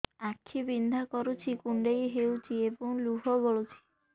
ଆଖି ବିନ୍ଧା କରୁଛି କୁଣ୍ଡେଇ ହେଉଛି ଏବଂ ଲୁହ ଗଳୁଛି